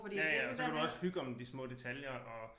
Ja ja og så kan du også hygge om de små detaljer og